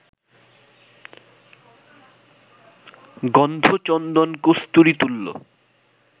গন্ধ চন্দন-কস্তুরী তুল্য